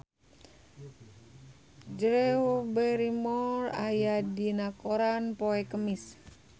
Drew Barrymore aya dina koran poe Kemis